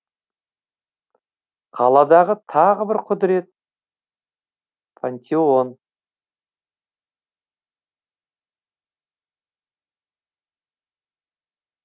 қаладағы тағы бір құдірет пантеон